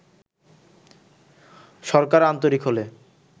সরকার আন্তরিক হলে